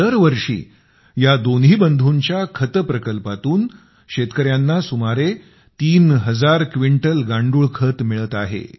दर वर्षी या दोन्ही बंधूंच्या खत प्रकल्पातून शेतकऱ्यांना सुमारे तीन हजार क्विंटल गांडूळ खत मिळत आहे